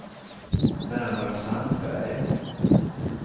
Bernhard Sandberg